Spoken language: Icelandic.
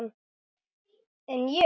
En ég?